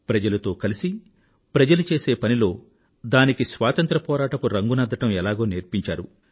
ప్రజలతో కలసి ప్రజలు చేసే పనిలో దానికి స్వాతంత్ర్య పోరాటపు రంగునద్దటం ఎలాగో నేర్పించారు